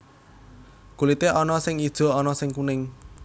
Kulité ana sing ijo ana sing kuning